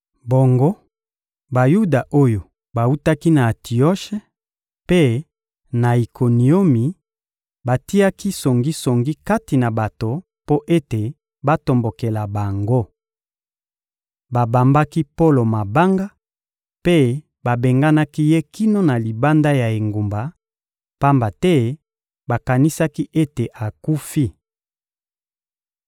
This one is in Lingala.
Bongo, Bayuda oyo bawutaki na Antioshe mpe na Ikoniomi batiaki songisongi kati na bato mpo ete batombokela bango. Babambaki Polo mabanga, mpe babendaki ye kino na libanda ya engumba, pamba te bakanisaki ete akufi.